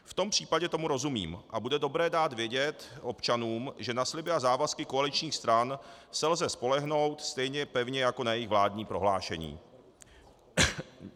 V tom případě tomu rozumím a bude dobré dát vědět občanům, že na sliby a závazky koaličních stran se lze spolehnout stejně pevně jako na jejich vládní prohlášení.